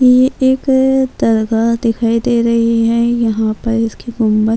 یہ ایک درگاہ دکھائی دے رہی ہے یہاں پر اس کی گنبد